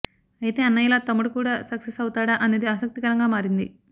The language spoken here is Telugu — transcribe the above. అయితే అన్నయ్యలా తమ్ముడు కూడా సక్సెస్ అవుతాడా అనేది ఆసక్తికరంగా మారింది